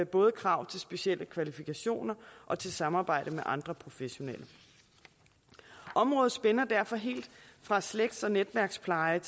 både krav til specielle kvalifikationer og til samarbejdet med andre professionelle området spænder derfor helt fra slægts og netværkspleje